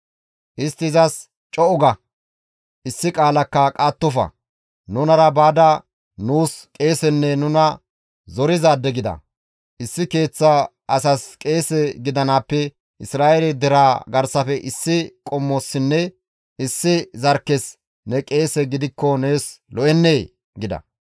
Istti izas, «Co7u ga! Issi qaalakka qaattofa! Nunara baada nuus qeesenne nuna zorizaade gida. Issi keeththa asas qeese gidanaappe Isra7eele deraa garsafe issi qommossinne issi zarkkes ne qeese gidikko nees lo7ennee?» gida.